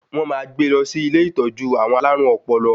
Wọ̀n máa gbe lọ sí ilé ìtọ́jú àwọn alárùn ọpọlọ